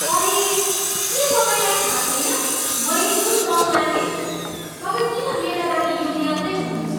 अरे, के तपाईँलाई थाहा छैन मैले कुन रङ मागेँ? तपाईँ किन मेरा लागि यो ल्याउँदै हुनुहुन्छ?